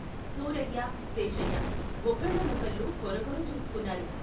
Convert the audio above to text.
సూరయ్య, శేషయ్య ఒకళ్ళ నొకళ్ళు కొరకొర చూసుకున్నారు.